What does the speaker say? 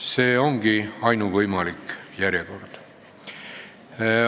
See ongi ainuvõimalik järjekord.